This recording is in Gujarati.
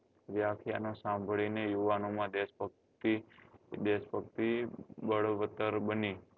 વ્યાખ્યાનો સાંભળી ને યુવાનો માં દેશ ભક્તિ દેશ ભક્તિ બળવતર બની